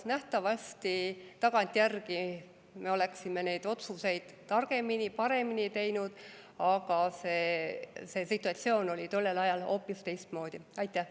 Nähtavasti tagantjärgi me oleksime neid otsuseid targemini, paremini teinud, aga see situatsioon oli tollel ajal hoopis teistsugune.